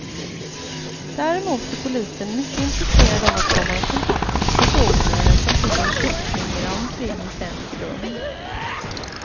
Däremot är polisen mycket intresserad av att komma i kontakt med personer som sett en kyckling irra omkring i centrum.